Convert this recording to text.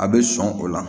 A bɛ sɔn o la